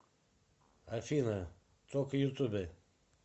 афина тока ютубе